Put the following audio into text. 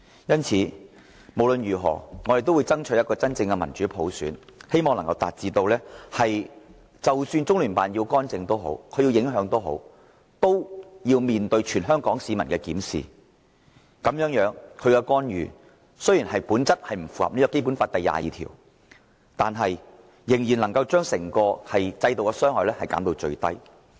因此，無論如何，我們都要爭取真正的民主普選，以致即使中聯辦要干預、要影響我們的選舉，也要面對全香港市民的監察，這樣，中聯辦的干預雖然本質上不符合《基本法》第二十二條，我們仍能將其對整個制度的傷害減至最低。